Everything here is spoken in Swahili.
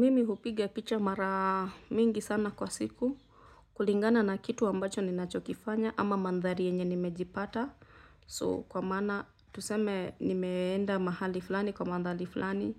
Mimi hupiga picha mara mingi sana kwa siku kulingana na kitu ambacho ninachokifanya ama mandhari yenye nimejipata so kwa maana tuseme nimeenda mahali fulani kwa mandhari fulani